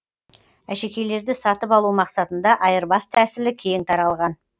әшекейлерді сатып алу мақсатында айырбас тәсілі кең таралған